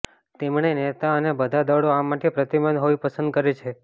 તેમણે નેતા અને બધા દળો આ માટે પ્રતિબદ્ધ હોઈ પસંદ કરે છે